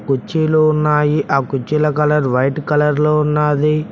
కుర్చీలు ఉన్నాయి ఆ కుర్చీల కలర్ వైట్ కలర్ లో ఉన్నది.